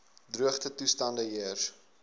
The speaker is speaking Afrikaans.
droogte toestande heers